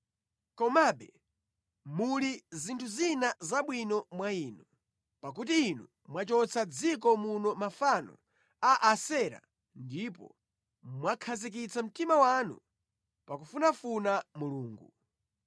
Komabe, muli zinthu zina zabwino mwa inu, pakuti inu mwachotsa mʼdziko muno mafano a Asera ndipo mwakhazikitsa mtima wanu pa kufunafuna Mulungu.”